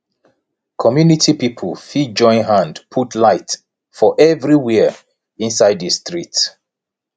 community pipo fit join hand put light for everywhere inside di street